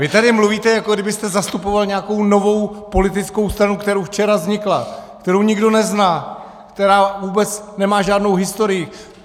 Vy tady mluvíte, jako kdybyste zastupoval nějakou novou politickou stranu, která včera vznikla, kterou nikdo nezná, která vůbec nemá žádnou historii.